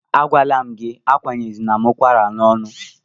Agwala m gị, akwanyezila m ụkwara n'ọnụ!